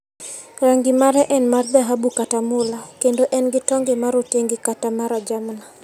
Rangi mare en mar dhahabu kata mula, kendo en gi tonde ma rotenge kata ma rajamna.